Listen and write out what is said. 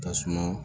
Tasuma